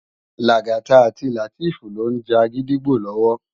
Lagata àti Lateef ló n já gidigbó lòwò